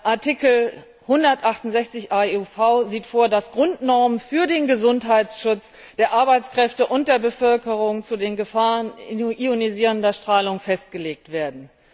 Artikel 168 AEUV sieht vor, dass Grundnormen für den Gesundheitsschutz der Arbeitskräfte und der Bevölkerung zu den Gefahren ionisierender Strahlung festgelegt werden.